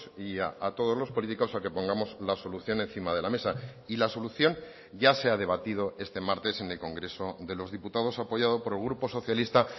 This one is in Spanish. y a todos los políticos a que pongamos la solución encima de la mesa y la solución ya se ha debatido este martes en el congreso de los diputados apoyado por el grupo socialista